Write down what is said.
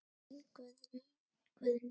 Þín Guðný Ýr.